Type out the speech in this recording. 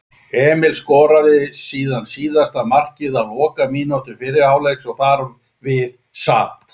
Emil skoraði síðan síðasta markið á lokamínútu fyrri hálfleiks og þar við sat.